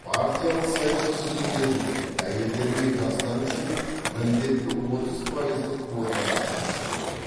партиялық сайлау тізімдерінде әйелдер мен жастар үшін міндетті отыз пайыздық квотаны қарастыру керек